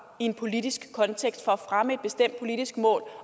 i en politisk kontekst for at fremme et bestemt politisk mål